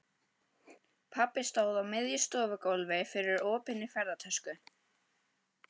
Pabbi stóð á miðju stofugólfi yfir opinni ferðatösku.